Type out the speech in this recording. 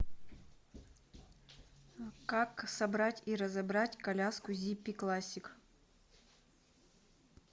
как собрать и разобрать коляску зиппи классик